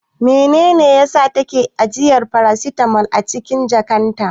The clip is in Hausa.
Menene yasa yake ajiye farasitamol a cikin jakarta?